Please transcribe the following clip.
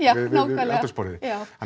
við eldhúsborðið